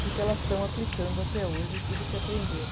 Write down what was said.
porque elas estão aplicando até hoje tudo o que aprenderam.